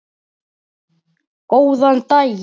Góðan daginn!